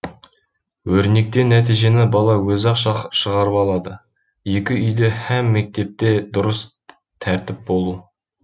өрнектен нәтижені бала өзі ақ шығарып алады екі үйде һәм мектепте дұрыс тәртіп болу